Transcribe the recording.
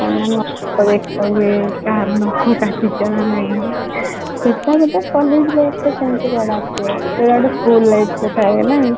କାହାର ନଖ କାଟିଛ ନ ନାଇଁ ସେଇଟା ବୋଧେ college life ରେ ସେମିତି କୁଆଡେ ଆସିବ ସେଇଟା school life ରେ ଥାଏ ନା